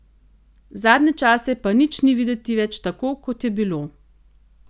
Zadnje čase pa nič ni videti več tako, kot je bilo.